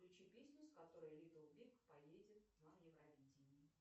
включи песню с которой литтл биг поедет на евровидение